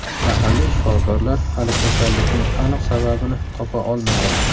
Mahalliy shifokorlar hali kasallikning aniq sababini topa olmagan.